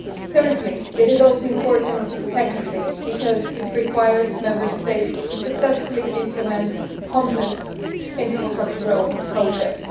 Thirdly, it is important technically, because it requires the Member States to successfully implement complex infrastructure projects.